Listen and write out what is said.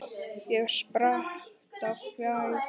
Ég spratt á fætur.